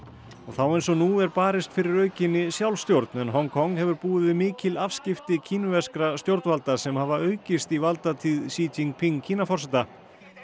þá eins og nú er barist fyrir aukinni sjálfstjórn en Hong Kong hefur búið við mikil afskipti kínverskra stjórnvalda sem hafa aukist í valdatíð Jingping kínaforseta